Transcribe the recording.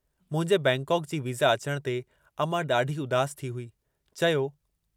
मुंहिंजे बैंकाक जी वीज़ा अचण ते अमां ॾाढी उदास थी हुई। चयो